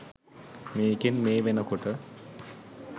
මේකෙන් මේ වෙන කොට